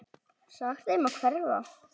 Sagt þeim að hverfa.